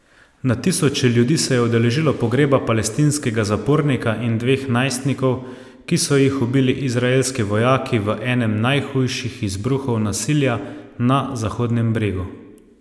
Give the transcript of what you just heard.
Na tisoče ljudi se je udeležilo pogreba palestinskega zapornika in dveh najstnikov, ki so jih ubili izraelski vojaki v enem najhujših izbruhov nasilja na Zahodnem bregu.